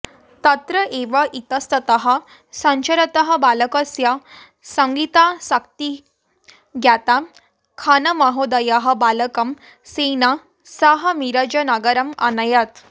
तत्र एव इतस्ततः सञ्चरतः बालकस्य सङ्गीतासक्तिं ज्ञात्वा खानमहोदयः बालकं स्वेन सह मिरजनगरम् अनयत्